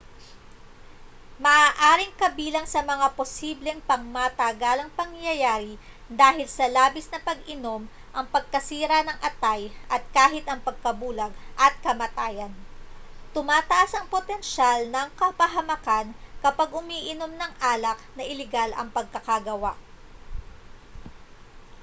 maaaring kabilang sa mga posibleng pangmatagalang pangyayari dahil sa labis na pag-inom ang pagkasira ng atay at kahit ang pagkabulag at kamatayan tumataas ang potensyal na kapahamakan kapag umiinom ng alak na iligal ang pagkakagawa